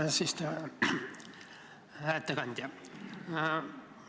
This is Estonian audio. Hää ettekandja!